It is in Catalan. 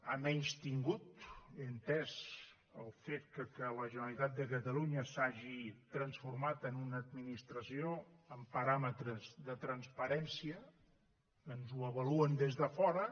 ha menystingut he entès el fet que la generalitat de catalunya s’hagi transformat en una administració amb paràmetres de transpa rència ens ho avaluen des de fora